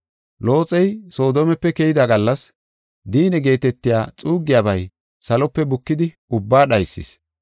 Looxey Soodomepe keyida gallas diinne geetetiya xuuggiyabay salope bukidi ubbaa dhaysis.